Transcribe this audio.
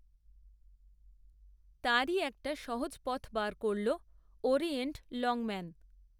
তারই একটা সহজ, পথ, বার করল, ওরিয়েন্ট, লংম্যান